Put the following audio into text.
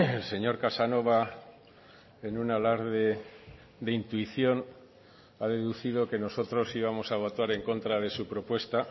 el señor casanova en un alarde de intuición ha deducido que nosotros íbamos a votar en contra de su propuesta